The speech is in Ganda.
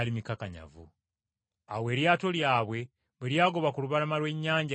Awo eryato lyabwe bwe lyagoba ku lubalama lw’ennyanja Genesaleeti,